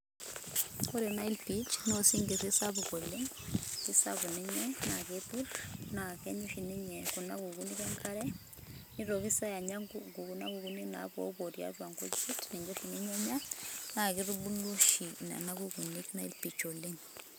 ore nile perch na osinkiri sapuk oleng kisapuk ninye na kepirr na kenya ninye kuna kukuni enkare nitoki si anya ,kuna kukuni napuo puo tiatua kujit, niche oshi ninye enya naa kitabulu oshi nena kukuni nile perch oleng.